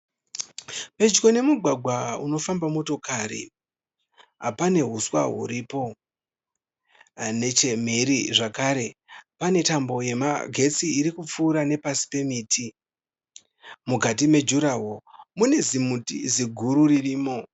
Pedyo nemugwagwa unofamba motokari pane huswa huripo, nechemhiri zvakare pane tambo yemagetsi irikupfura nepasi pemiti. Mukati me juraho mune zimuti ziguru ririmo.